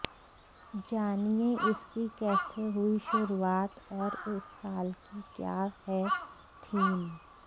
जानिए इसकी कैसे हुई शुरुआत और इस साल की क्या है थीम